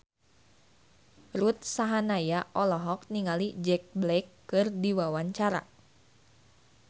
Ruth Sahanaya olohok ningali Jack Black keur diwawancara